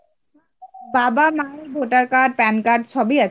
বাবা মায়ের voter card, pan card সবই আছে.